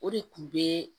O de kun be